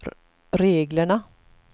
reglerna